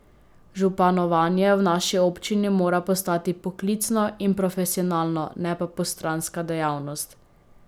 Županovanje v naši občini mora postati poklicno in profesionalno, ne pa postranska dejavnost.